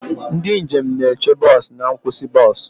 Ndị njem na-eche bọs na nkwụsị bọs.